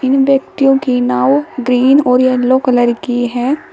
इन व्यक्तियों की नाव ग्रीन और येलो कलर की है।